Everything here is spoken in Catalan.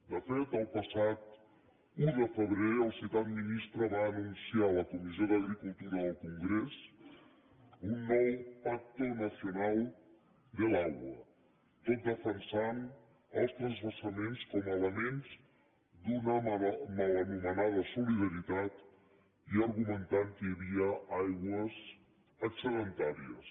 de fet el passat un de febrer el citat ministre va anunciar a la comissió d’agricultura del congrés un nou pacto nacional del agua tot defensant els transvasaments com a elements d’una mal anomenada solidaritat i argumentant que hi havia aigües excedentàries